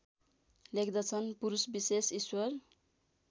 लेख्दछन् पुरुषविशेष ईश्वर